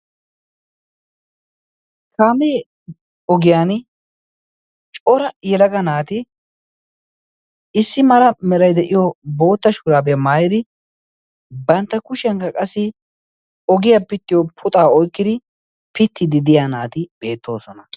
kaamee ogiyan coora yelaga naati issi mara merai de7iyo bootta shuuraabiyaa maayidi bantta kushiyankka qassi ogiyaa pittiyo puxaa oikkidi pittidi diya naati beettoosona